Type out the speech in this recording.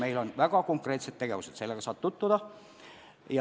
Meil on väga konkreetsed tegevused, selle kavaga saab tutvuda.